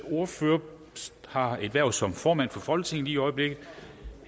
ordfører har et hverv som formand for folketinget lige i øjeblikket